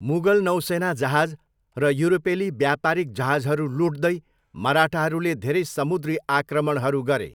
मुगल नौसेना जहाज र युरोपेली व्यापारिक जहाजहरू लुट्दै, मराठाहरूले धेरै समुद्री आक्रमणहरू गरे।